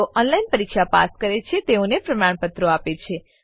જેઓ ઓનલાઈન પરીક્ષા પાસ કરે છે તેઓને પ્રમાણપત્રો આપે છે